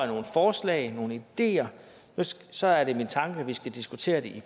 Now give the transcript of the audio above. nogle forslag nogle ideer så er det min tanke at vi skal diskutere det i